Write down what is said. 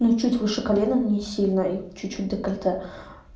ну чуть выше колена ну не сильно и чуть-чуть декольте